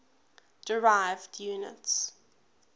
derived units